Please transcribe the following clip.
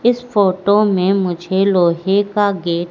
इस फोटो में मुझे लोहे का गेट --